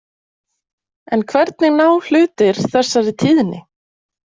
En hvernig ná hlutir þessari tíðni?